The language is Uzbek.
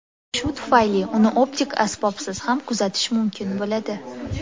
Shu tufayli uni optik asbobsiz ham kuzatish mumkin bo‘ladi.